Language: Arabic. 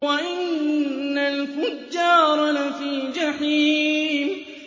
وَإِنَّ الْفُجَّارَ لَفِي جَحِيمٍ